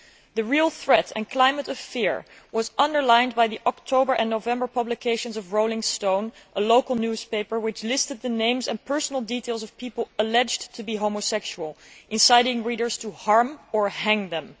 The real threat and the climate of fear were underlined in the October and November issues of Rolling Stone a local newspaper, which listed the names and personal details of people alleged to be homosexual, inciting readers to harm or hang them.